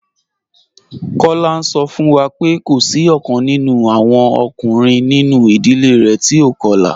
Kola n sọ fun wa pé kò sí ọ̀kan nínú awọn ọkùnrin nínú idílé rẹ̀ tí o kọ̀la.